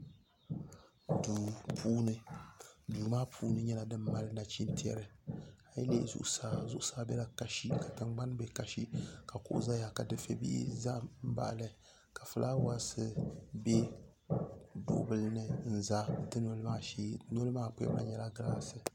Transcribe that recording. Duu puuni duu maa puuni nyɛla din mali nachintɛri a yi lihi zuɣusaa zuɣusaa bela kasi ka tiŋɡbani be kasi ka kuɣu zaya ka dufɛbihi za m-baɣi li ka fulaawaasi be duɣubila ni n-za dunoli maa shee noli maa kpiɛbu na nyɛla ɡiraasi